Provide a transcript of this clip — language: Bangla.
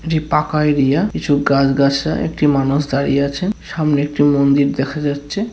এটি পাকা এরিয়া কিছু গাছ-গাছড়া একটি মানুষ দাঁড়িয়ে আছেন সামনে একটি মন্দির দেখা যাচ্ছে।